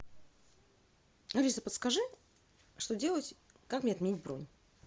алиса подскажи что делать как мне отменить бронь